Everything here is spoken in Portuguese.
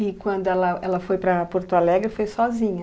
E quando ela ela foi para Porto Alegre, foi sozinha?